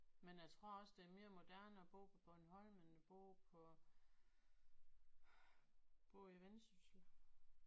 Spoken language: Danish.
Men jeg tror også det er mere moderne at bo på Bornholm end at bo på bo i Vendsyssel